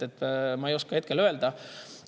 Seda ma ei oska hetkel öelda.